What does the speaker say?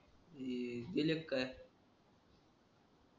ही काय